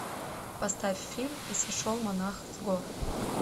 поставь фильм и сошел монах с гор